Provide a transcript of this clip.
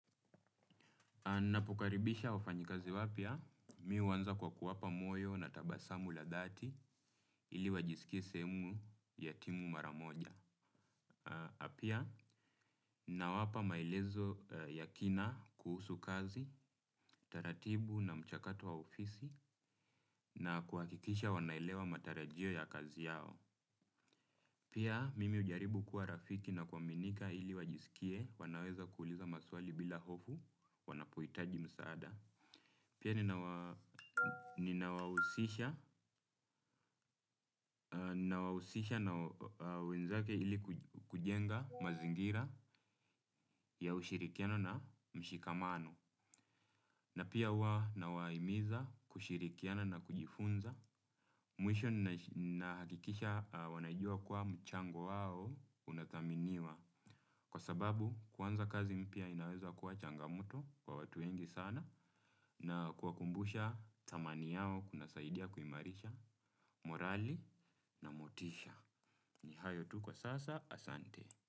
Na ninapokaribisha wafanyikazi wapya, mimi huanza kwa kuwapa moyo na tabasamu la dhati ili wajisikie sehemu ya timu mara moja. Na pia, nawapa maelezo ya kina kuhusu kazi, taratibu na mchakato wa ofisi na kuhakikisha wanaelewa matarajio ya kazi yao. Pia, mimi hujaribu kuwa rafiki na kuaminika ili wajisikie, wanaweza kuuliza maswali bila hofu, wanapohitaji msaada. Pia ninawahusisha na wenzake ili kujenga mazingira ya ushirikiano na mshikamano. Na pia huwa nawahimiza kushirikiana na kujifunza. Mwisho ninahakikisha wanajua kuwa mchango wao unathaminiwa. Kwa sababu kwanza kazi mpya inaweza kuwa changamoto kwa watu wengi sana. Na kuwakumbusha thamani yao kuna saidia kuimarisha. Morali na motisha ni hayo tu kwa sasa asanti.